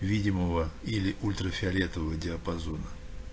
видимого или ультрафиолетового диапазона